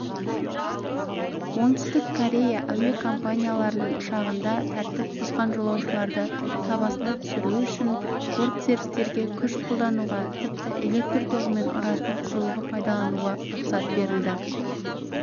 оңтүстік корея әуе компанияларының ұшағында тәртіп бұзған жолаушыларды сабасына түсіру үшін бортсеріктерге күш қолдануға тіпті электр тоғымен ұратын құрылғы пайдануға рұқсат берілді